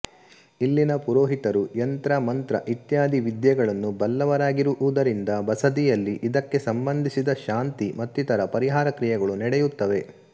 ಇಲ್ಲಿನ ಪುರೋಹಿತರು ಯಂತ್ರ ಮಂತ್ರ ಇತ್ಯಾದಿ ವಿದ್ಯೆಗಳನ್ನು ಬಲ್ಲವರಾಗಿರುವುದರಿಂದ ಬಸದಿಯಲ್ಲಿ ಇದಕ್ಕೆ ಸಂಬಂಧಿಸಿದ ಶಾಂತಿ ಮತ್ತಿತರ ಪರಿಹಾರ ಕ್ರಿಯೆಗಳು ನಡೆಯುತ್ತವೆ